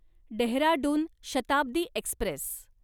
Dehradun Shatabdi Express